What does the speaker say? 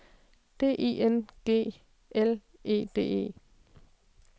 D I N G L E D E